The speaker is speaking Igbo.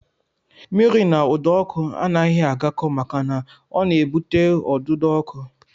Mmiri na ụdọọkụ anaghị agakọ maka na ọ na-ebute ọdụdọọkụ